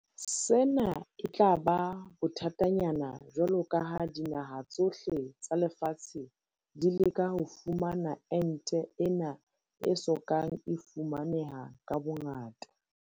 Sena e tla ba bothatanyana jwalo ka ha dinaha tsohle tsa lefatshe di leka ho fumana ente ena e so kang e fumaneha ka bongata.